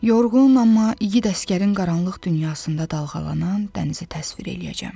Yorğun, amma igid əsgərin qaranlıq dünyasında dalğalanan dənizi təsvir eləyəcəm.